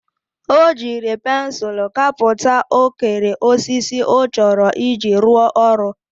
O jiri pensul kaputa okere osisi o choro iji ru oru.